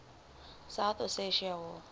south ossetia war